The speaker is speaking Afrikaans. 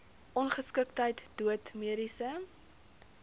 ongeskiktheid dood mediese